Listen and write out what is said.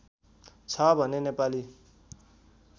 छ भने नेपाली